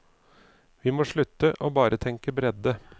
Vi må slutte å bare tenke bredde.